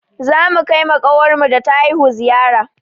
Za mu kai ma ƙawarmu da ta haihu ziyara